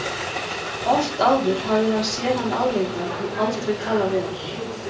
Oft áður hafði hann séð hann álengdar en aldrei talað við hann.